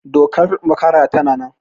Dokar makara tana nan